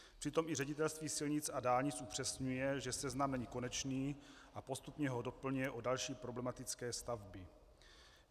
Přitom i Ředitelství silnic a dálnic upřesňuje, že seznam není konečný, a postupně ho doplňuje o další problematické stavby.